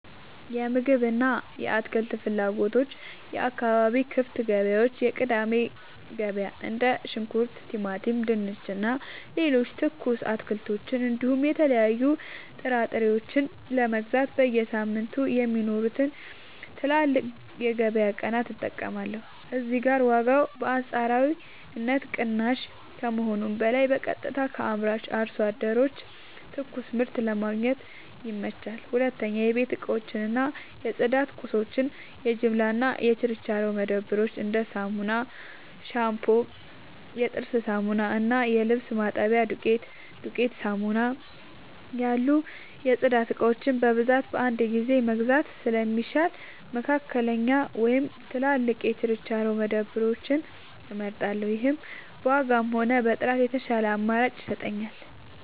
የምግብ እና የአትክልት ፍላጎቶች የአካባቢ ክፍት ገበያዎች (የቅዳሜ ገበያ): እንደ ሽንኩርት፣ ቲማቲም፣ ድንች እና ሌሎች ትኩስ አትክልቶችን እንዲሁም የተለያዩ ጥራጥሬዎችን ለመግዛት በየሳምንቱ የሚኖሩትን ትላልቅ የገበያ ቀናት እጠቀማለሁ። እዚህ ጋር ዋጋው በአንጻራዊነት ቅናሽ ከመሆኑም በላይ በቀጥታ ከአምራች አርሶ አደሮች ትኩስ ምርት ለማግኘት ይመቻቻል። 2. የቤት እቃዎች እና የጽዳት ቁሳቁሶች የጅምላ እና የችርቻሮ መደብሮች: እንደ ሳሙና፣ ሻምፑ፣ የጥርስ ሳሙና እና የልብስ ማጠቢያ ዱቄት (ዱቄት ሳሙና) ያሉ የጽዳት እቃዎችን በብዛት በአንድ ጊዜ መግዛት ስለሚሻል፣ መካከለኛ ወይም ትላልቅ የችርቻሮ መደብሮችን እመርጣለሁ። ይህም በዋጋም ሆነ በጥራት የተሻለ አማራጭ ይሰጠኛል።